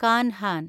Kanhan